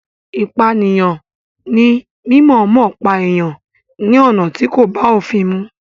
Ìpànìyàn ní mímọ̀ọ́mọ̀ pípa èèyàn ní ọ̀nà tí kò bá òfin mu.